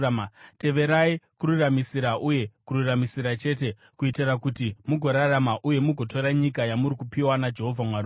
Teverai kururamisira uye kururamisira chete, kuitira kuti mugorarama uye mugotora nyika yamuri kupiwa naJehovha Mwari wenyu.